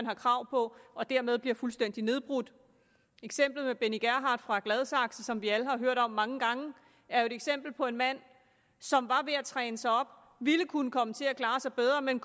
har krav på og dermed bliver fuldstændig nedbrudt eksemplet med benny gerhard fra gladsaxe som vi alle har hørt om mange gange er jo et eksempel på en mand som var ved at træne sig op og ville kunne komme til at klare sig bedre men